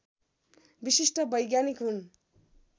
विशिष्ट वैज्ञानिक हुन्